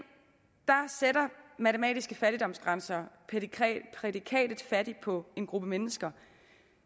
sætter matematiske fattigdomsgrænser prædikatet fattig på en gruppe mennesker